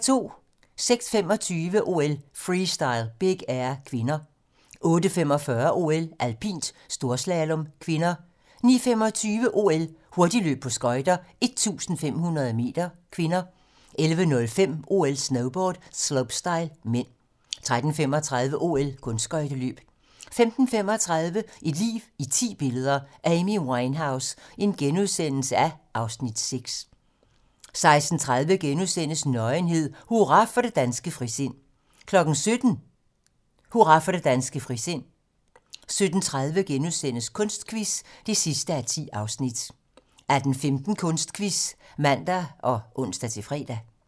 06:25: OL: Freestyle - Big Air (k) 08:45: OL: Alpint - storslalom (k) 09:25: OL: Hurtigløb på skøjter - 1500 m (k) 11:05: OL: Snowboard - slopestyle (m) 13:35: OL: Kunstskøjteløb 15:35: Et liv i ti billeder - Amy Winehouse (Afs. 6)* 16:30: Nøgenhed: Hurra for det danske frisind * 17:00: Hurra for det danske frisind 17:30: Kunstquiz (10:10)* 18:15: Kunstquiz (man og ons-fre)